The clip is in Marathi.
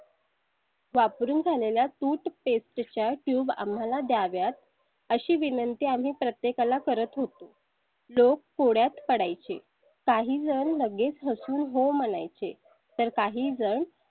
वापरून झालेल्या toothpastetube आम्हाला द्याव्यात, अशी विनंती आम्ही प्रत्येका ला करत होतो. लोक कोड्यात पडाय चे काही जण लगेच हसून हो म्हणाय चे तर काहीजण.